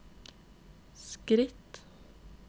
skritt